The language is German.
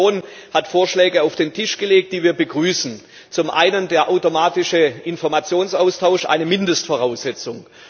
Die Kommission hat Vorschläge auf den Tisch gelegt, die wir begrüßen zum einen den automatischen Informationsaustausch eine Mindestvoraussetzung.